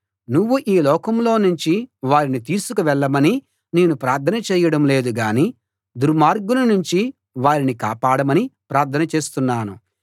నువ్వు ఈ లోకంలో నుంచి వారిని తీసుకు వెళ్ళమని నేను ప్రార్థన చేయడం లేదు గాని దుర్మార్గుని నుంచి వారిని కాపాడమని ప్రార్థన చేస్తున్నాను